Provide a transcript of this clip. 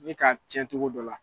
N'i ka cɛn cogo dɔ la.